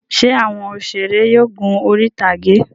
Ṣé àwọn òṣèré yóò gun orí-ìtàgé?